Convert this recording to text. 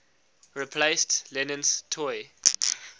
replaced lennon's toy